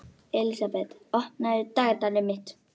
Elísabet, opnaðu dagatalið mitt.